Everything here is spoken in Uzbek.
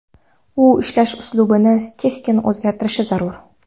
U ishlash uslubini keskin o‘zgartirishi zarur.